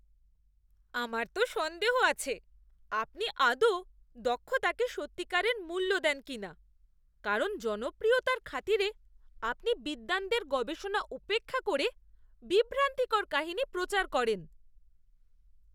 আমার তো সন্দেহ আছে আপনি আদৌ দক্ষতাকে সত্যিকারের মূল্য দেন কিনা, কারণ জনপ্রিয়তার খাতিরে আপনি বিদ্বানদের গবেষণা উপেক্ষা করে বিভ্রান্তিকর কাহিনী প্রচার করেন।